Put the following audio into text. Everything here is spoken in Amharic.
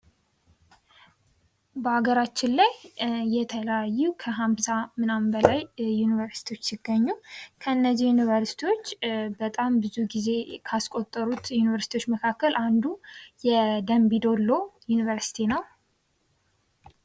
በሀገራችን ላይ የተለያዩ ከሀምሳ ምናምን በላይ ዩኒበርሲቲዎች ሲገኙ ከእንዚህ ዩኒበርሲቲዎች በጣም ብዙ ጊዜ ካስቆጠሩት ዩኒበርሲቲዎች መካከል አንዱ የደንቢ ደሎ ዩኒበርሲቲ ነው ።